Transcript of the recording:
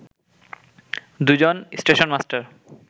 দু’জন stationmaster